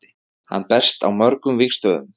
Hann berst á mörgum vígstöðvum.